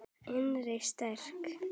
Innri styrk.